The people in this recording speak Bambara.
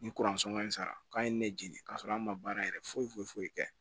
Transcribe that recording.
Ni kuransɔn ka ɲi sara k'a ye ne jeni k'a sɔrɔ an ma baara yɛrɛ foyi foyi foyi kɛ